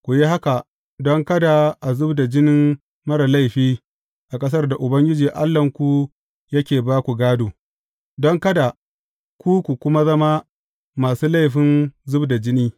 Ku yi haka don kada a zub da jinin marar laifi a ƙasar da Ubangiji Allahnku yake ba ku gādo, don kada ku kuma zama masu laifin zub da jini.